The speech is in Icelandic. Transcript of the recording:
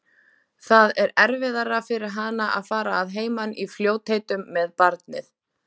Það er erfiðara fyrir hana að fara að heiman í fljótheitum með barnið.